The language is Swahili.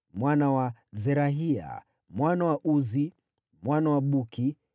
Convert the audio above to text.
mwana wa Zerahia, mwana wa Uzi, mwana wa Buki,